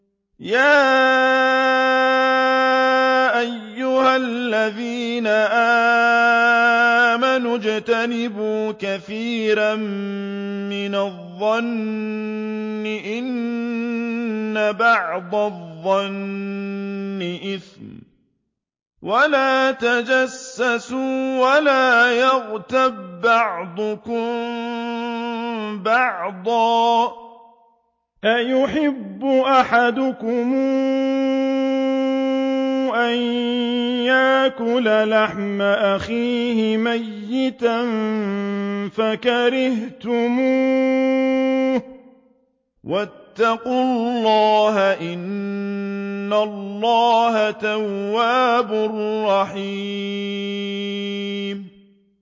يَا أَيُّهَا الَّذِينَ آمَنُوا اجْتَنِبُوا كَثِيرًا مِّنَ الظَّنِّ إِنَّ بَعْضَ الظَّنِّ إِثْمٌ ۖ وَلَا تَجَسَّسُوا وَلَا يَغْتَب بَّعْضُكُم بَعْضًا ۚ أَيُحِبُّ أَحَدُكُمْ أَن يَأْكُلَ لَحْمَ أَخِيهِ مَيْتًا فَكَرِهْتُمُوهُ ۚ وَاتَّقُوا اللَّهَ ۚ إِنَّ اللَّهَ تَوَّابٌ رَّحِيمٌ